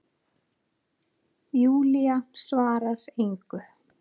Júlía svarar engu.